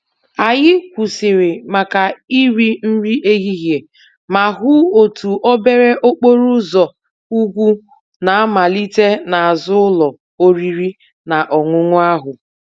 Anyị kwụsịrị maka iri nri ehihie ma hụ otu obere okporo ụzọ ugwu na-amalite n'azụ ụlọ oriri na ọṅụṅụ ahụ.